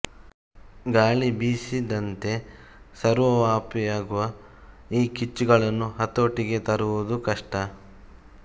ಗಾಳಿ ಬೀಸಿದಂತೆ ಸರ್ವವ್ಯಾಪಿಯಾಗುವ ಈ ಕಿಚ್ಚುಗಳನ್ನು ಹತೋಟಿಗೆ ತರುವುದು ಕಷ್ಟ